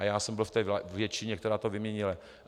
A já jsem byl v té většině, která to vyměnila.